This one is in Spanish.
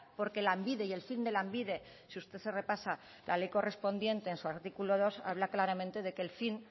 porque lanbide y el fin de lanbide si usted se repasa la ley correspondiente en su artículo dos habla claramente de que el fin